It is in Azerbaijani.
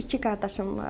İki qardaşım var.